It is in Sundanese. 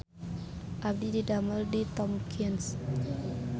Abdi didamel di Tomkins